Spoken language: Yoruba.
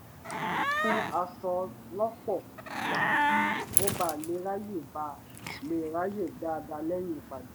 ó mú aṣọ lọ́pọ̀ wá kí ó bà lè ráàyè bà lè ráàyè dáadáa lẹ́yìn ìpàdé